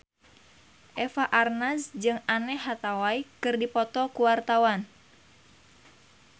Eva Arnaz jeung Anne Hathaway keur dipoto ku wartawan